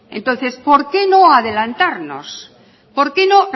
entonces por qué no adelantarnos por qué no